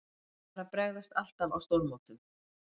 Þeir bara bregðast alltaf á stórmótum.